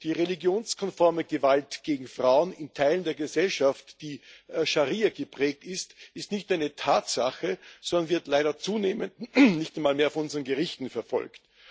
Die religionskonforme Gewalt gegen Frauen in Teilen der Gesellschaft, die von der Scharia geprägt ist, ist nicht nur eine Tatsache, sondern wird leider zunehmend nicht einmal mehr von unseren Gerichten verfolgt.